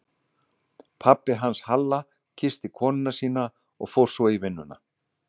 Pabbi hans Halla kyssti konuna sína og fór svo í vinnuna.